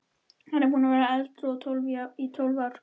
Hann er búinn að vera edrú í tólf ár.